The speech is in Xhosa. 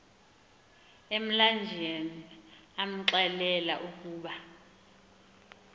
emlanjeni amxelela ukuba